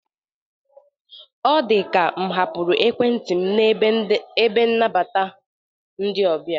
Ọ dịka m hapụrụ Ekwentị m n'ebe nabata ndị ọbịa.